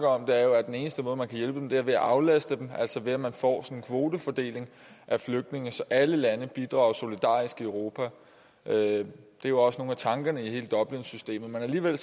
om er at den eneste måde man kan hjælpe dem på er ved at aflaste dem altså ved at man får en kvotefordeling af flygtninge så alle lande bidrager solidarisk i europa det er jo også nogle af tankerne i hele dublinsystemet men alligevel